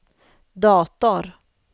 dator